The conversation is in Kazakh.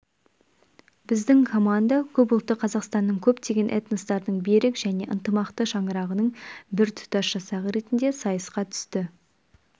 біздің команда көпұлтты қазақстанның көптеген этностардың берік және ынтымақты шаңырағының біртұтас жасағы ретінде сайысқа түсті